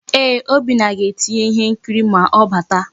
Eeh, Obinna ga-etinye ihe nkiri ma ọ bata.